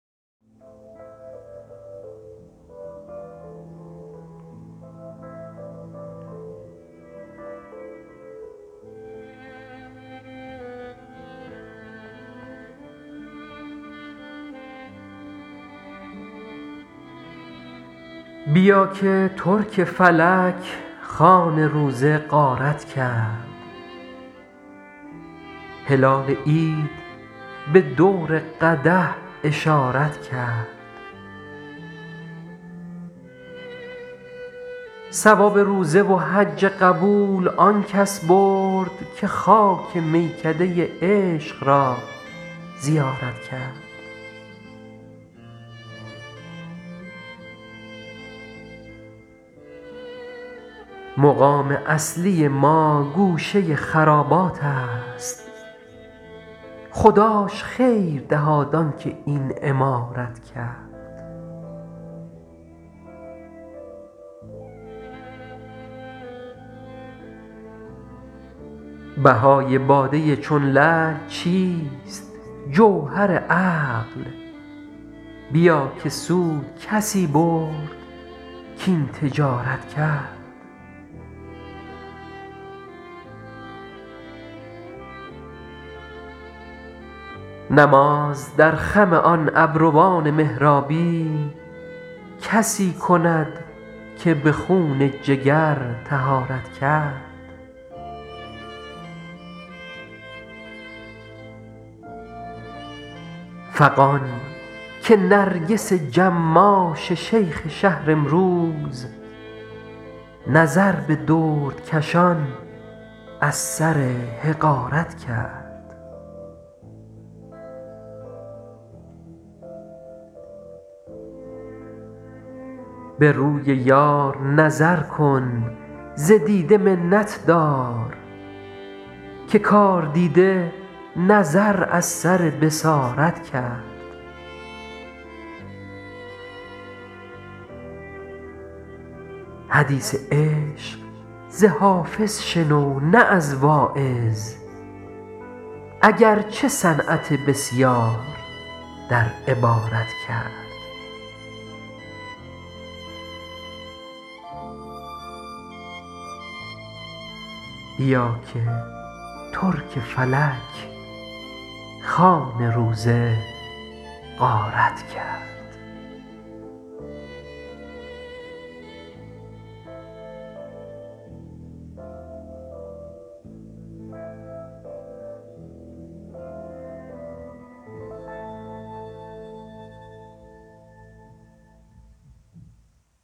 بیا که ترک فلک خوان روزه غارت کرد هلال عید به دور قدح اشارت کرد ثواب روزه و حج قبول آن کس برد که خاک میکده عشق را زیارت کرد مقام اصلی ما گوشه خرابات است خداش خیر دهاد آن که این عمارت کرد بهای باده چون لعل چیست جوهر عقل بیا که سود کسی برد کاین تجارت کرد نماز در خم آن ابروان محرابی کسی کند که به خون جگر طهارت کرد فغان که نرگس جماش شیخ شهر امروز نظر به دردکشان از سر حقارت کرد به روی یار نظر کن ز دیده منت دار که کاردیده نظر از سر بصارت کرد حدیث عشق ز حافظ شنو نه از واعظ اگر چه صنعت بسیار در عبارت کرد